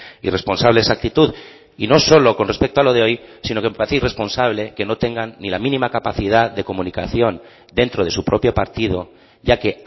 irresponsable esa actitud y no solo con respecto a lo de hoy sino que me parece irresponsable que no tengan ni la mínima capacidad de comunicación dentro de su propio partido ya que